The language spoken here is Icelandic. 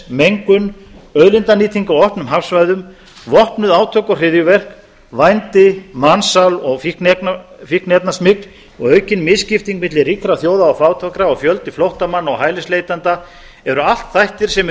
mengun auðlindanýting á opnum hafsvæðum vopnuð átök og hryðjuverk vændi mansal og fíkniefnasmygl aukin misskipting milli ríkra þjóða og fátækra og fjöldi flóttamanna og hælisleitenda eru allt þættir sem eru í